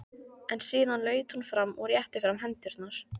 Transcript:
En síðan laut hún fram og rétti fram hendurnar.